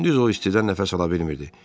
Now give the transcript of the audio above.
Gündüz o istidə nəfəs ala bilmirdi.